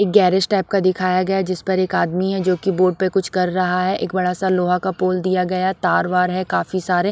एक garage type का दिखाया गया है जिस पर एक आदमी है जो कि बोर्ड पे कुछ कर रहा है एक बड़ा सा लोहा का पोल दिया गया तार वार है काफी सारे।